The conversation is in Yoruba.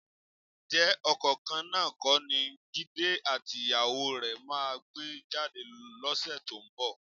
Ǹjẹ́ ọkọ̀ kan náà kọ́ ni Jídé àtìyàwó rẹ máa gbé jáde lọ́sẹ̀ tó ń bọ̀?